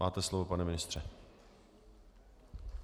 Máte slovo, pane ministře.